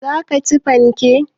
Zaka ci fanke?